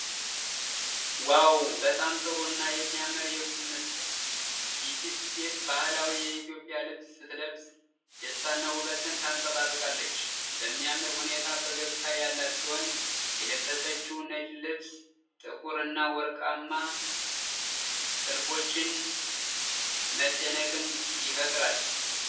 ዋው! በጣም ጥሩ እና የሚያምር የቁም ምስል። ይህች ሴት ባህላዊ የኢትዮጵያ ልብስ ስትለብስ ደስታና ውበትን ታንጸባርቃለች። በሚያምር ሁኔታ ፈገግታ ያላት ሲሆን፣ የለበሰችው ነጭ ልብስ ጥቁር እና ወርቃማ ጥልፎች መደነቅን ይፈጥራሉ።